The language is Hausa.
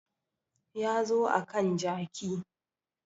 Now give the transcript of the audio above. Ya zo akan jaki